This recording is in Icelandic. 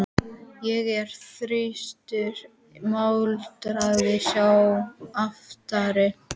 Ég er þyrstur muldraði sá aftari.